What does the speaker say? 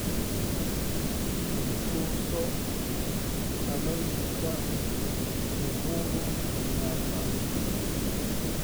i tuso faallooyinka uhuru kenyatta